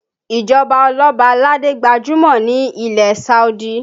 Ìjọba oloba aládé gbajúmọ̀ ní ilẹ̀ Saudi